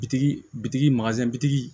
Bitigi bitigi bitigi